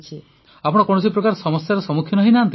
ପ୍ରଧାନମନ୍ତ୍ରୀ ଆପଣ କୌଣସି ପ୍ରକାର ସମସ୍ୟାର ସମ୍ମୁଖୀନ ହୋଇଛନ୍ତି କି